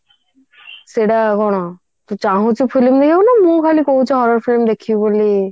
ସେଇଟା କଣ ତୁ ଚାହୁଛୁ film ଦେଖିବାକୁ ନା ମୁଁ ଖାଲି କହୁଛି horror film ଦେଖିବି ବୋଲି